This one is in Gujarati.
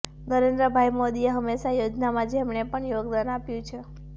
નરેન્દ્રભાઈ મોદીએ હંમેશા યોજનામાં જેમણે પણ યોગદાન આપ્યું છે